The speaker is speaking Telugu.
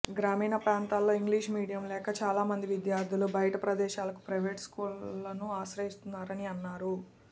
గ్రామీణ ప్రాంతాల్లో ఇంగ్లీషు మీడియం లేక చాలా మంది విద్యార్థులు బయట ప్రదేశాలకు ప్రైవేట్ స్కూళ్లను ఆశ్రయిస్తున్నారని అన్నారు